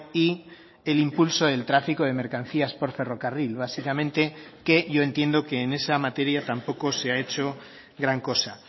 y el impulso del tráfico de mercancías por ferrocarril básicamente que yo entiendo que en esa materia tampoco se ha hecho gran cosa